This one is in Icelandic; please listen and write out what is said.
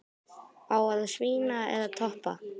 Á að svína eða toppa?